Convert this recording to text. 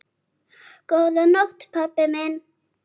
Góða nótt, pabbi minn.